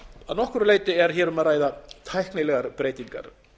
að nokkru leyti er hér um að ræða tæknilegar breytingar